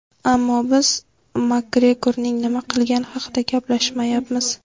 Ammo biz Makgregorning nima qilgani haqida gaplashmayapmiz.